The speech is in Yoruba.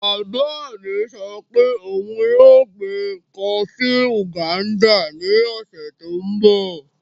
Bàbá mi sọ pé òun yóò gbin kọọfí ngándà ní ọ̀sẹ̀ tó n bọ̀